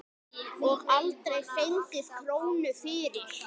Og aldrei fengið krónu fyrir.